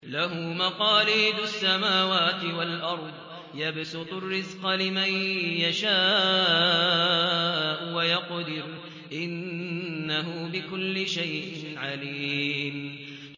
لَهُ مَقَالِيدُ السَّمَاوَاتِ وَالْأَرْضِ ۖ يَبْسُطُ الرِّزْقَ لِمَن يَشَاءُ وَيَقْدِرُ ۚ إِنَّهُ بِكُلِّ شَيْءٍ عَلِيمٌ